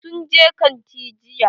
Sun je kantin jiya.